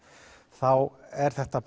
þá er þetta